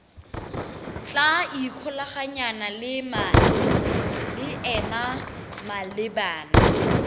tla ikgolaganyang le ena malebana